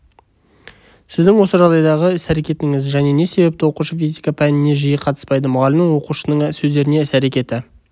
сіздің осы жағдайдағы іс-әрекетіңіз және не себепті оқушы физика пәніне жиі қатыспайды мұғалімнің оқушының сөздеріне іс-әрекеті